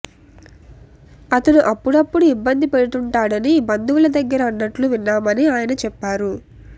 అతను అప్పుడప్పుడూ ఇబ్బంది పెడుతుంటాడని బంధువుల దగ్గర అన్నట్లు విన్నామని ఆయన చెప్పారు